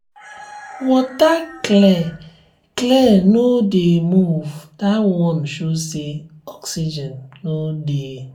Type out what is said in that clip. water clear clear no dey move that one show say oxygen no dey